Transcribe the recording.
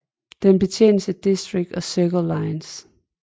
Den betjenes af District og Circle lines